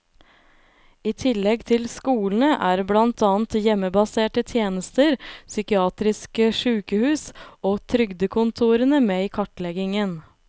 I tillegg til skolene er blant annet hjemmebaserte tjenester, psykiatriske sykehus og trygdekontorene med i kartleggingen.